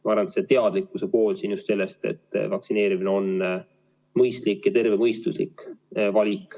Ma arvan, et oluline on just teadlikkus sellest, et vaktsineerimine on mõistlik, tervemõistuslik valik.